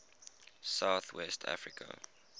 south west africa